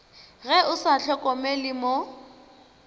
ge o sa hlokomele mo